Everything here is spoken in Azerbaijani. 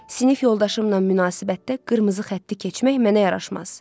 Sinif yoldaşımla münasibətdə qırmızı xətti keçmək mənə yaraşmaz.